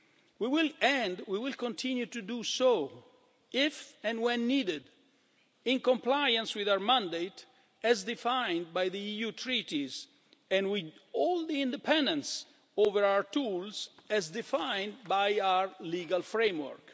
We will continue to do so if and when needed, in compliance with our mandate as defined by the EU Treaties, and with all the independence over our tools as defined by our legal framework.